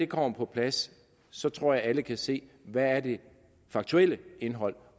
kommer på plads så tror jeg at alle kan se hvad det faktuelle indhold